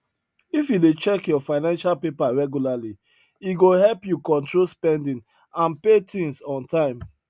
if you dey check your financial paper regularly e go help you control spending and pay things on time